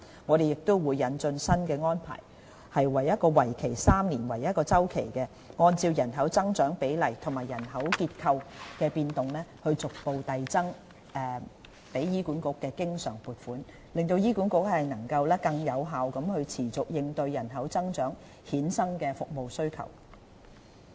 我們亦會引進新安排，以每3年為1個周期，按照人口增長比例和人口結構的變動，逐步遞增對醫管局的經常撥款，讓醫管局能更有效地持續應對人口增長衍生的服務需求。